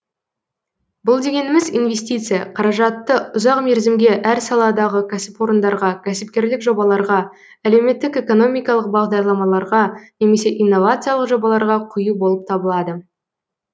бұл дегеніміз инвестиция қаражатты ұзақ мерзімге әр саладағы кәсіпорындарға кәсіпкерлік жобаларға әлеуметтік экономикалық бағдарламаларға немесе иновациялық жобаларға құю болып табылады